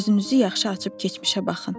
Gözünüzü yaxşı açıb keçmişə baxın.